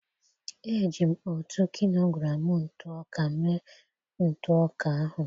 eji m otu kilogram ntụ ọka mee ntụ ọka ahụ.